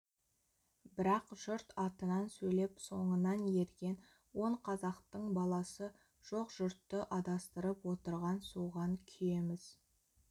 бірақ жұрт атынан сөйлеп соңынан ерген он қазақтың баласы жоқ жұртты адастырып отыр соған күйеміз